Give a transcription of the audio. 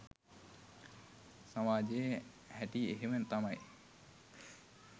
සමාජයේ හැටි එහෙම තමයි